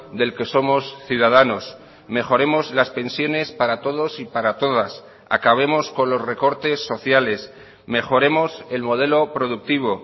del que somos ciudadanos mejoremos las pensiones para todos y para todas acabemos con los recortes sociales mejoremos el modelo productivo